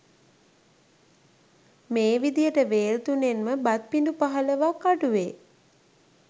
මේ විධියට වේල් තුනෙන් ම බත් පිඬු පහළොවක් අඩුවේ.